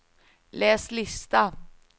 läs lista